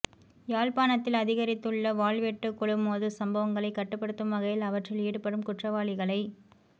யாழ்ப்பாணத்தில் அதிகரித்துள்ள வாள்வெட்டுக் குழுமோதல் சம்பவங்களை கட்டுபடுத்தும் வகையில் அவற்றில் ஈடுபடும் குற்றவாளிகளை